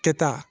Kɛta